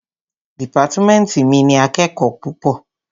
Dìpátmẹ́ntì mi ní akẹ́kòó púpọ̀.